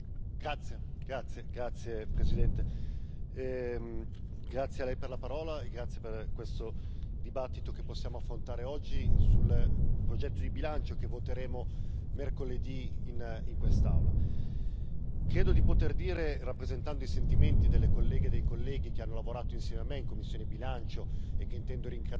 Signora Presidente, onorevoli colleghi, vi ringrazio per questo dibattito che possiamo affrontare oggi sul progetto di bilancio che voteremo mercoledì in quest'Aula. Credo di poter dire, rappresentando i sentimenti delle colleghe e dei colleghi che hanno lavorato insieme a me in commissione Bilancio che intendo ringraziare,